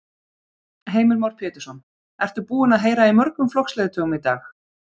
Heimir Már Pétursson: Ertu búin að heyra í mörgum flokksleiðtogum í dag?